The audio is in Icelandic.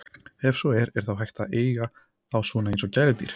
Ef svo er, er þá hægt að eiga þá svona eins og gæludýr?